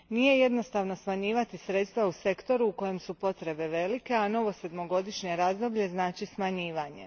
Nije jednostavno smanjivati sredstva u sektoru u kojem su potrebe velike a novo sedmogodišnje radzoblje znači smanjivanje.